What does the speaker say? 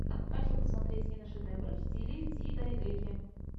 хочу посмотреть киношедевры в стиле дзидайгэки